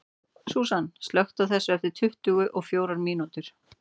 Súsan, slökktu á þessu eftir tuttugu og fjórar mínútur.